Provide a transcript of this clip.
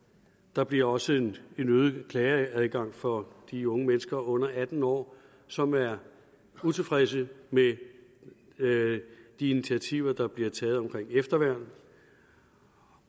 der bliver også en øget klageadgang for de unge mennesker under atten år som er utilfredse med de initiativer der bliver taget omkring efterværn